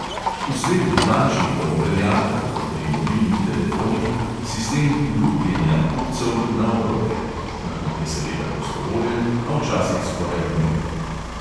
V svetu dlančnikov velja, tako kot pri mobilnih telefonih, sistem "lupljenja" kupcev na obroke (nakup je seveda prostovoljen, a včasih skoraj nujen).